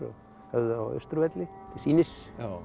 höfðu þá á Austurvelli til sýnis